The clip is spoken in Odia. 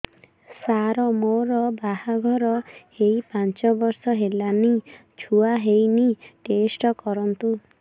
ସାର ମୋର ବାହାଘର ହେଇ ପାଞ୍ଚ ବର୍ଷ ହେଲାନି ଛୁଆ ହେଇନି ଟେଷ୍ଟ କରନ୍ତୁ